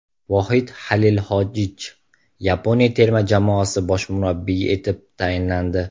Vohid Xalilxojich Yaponiya terma jamoasi bosh murabbiyi etib tayinlandi.